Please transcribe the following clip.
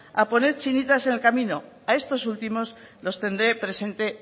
a poner chinitas en el camino a estos últimos los tendré presente